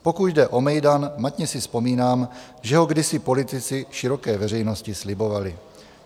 Pokud jde o mejdan, matně si vzpomínám, že ho kdysi politici široké veřejnosti slibovali.